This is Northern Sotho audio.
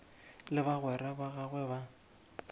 le bagwera ba gagwe ba